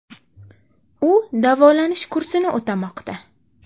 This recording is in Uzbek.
U davolanish kursini o‘tamoqda.